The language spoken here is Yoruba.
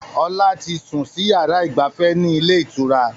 Ọlá tí sun sì yára ìgbafẹ́ ni ilé ìtura